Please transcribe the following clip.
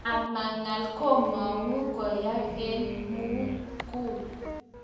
ama ngal, kimangu koyai en mulgul